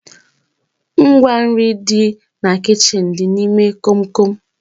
Ngwa nri dị na kichin dị n'ime komkom